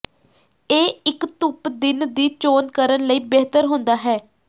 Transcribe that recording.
ਇਹ ਇੱਕ ਧੁੱਪ ਦਿਨ ਦੀ ਚੋਣ ਕਰਨ ਲਈ ਬਿਹਤਰ ਹੁੰਦਾ ਹੈ